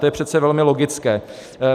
To je přece velmi logické.